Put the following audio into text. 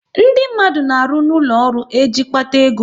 Ndị mmadụ na arụ n'ụlọ ọrụ e ji kpata ego